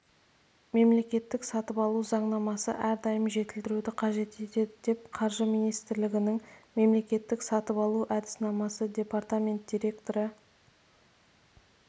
мемлекеттік сатып алу заңнамасы ардәйім жетілдіруді қажет етеді деп қаржы министрлігініңмемлекеттік сатып алу әдіснамасы департамент директоры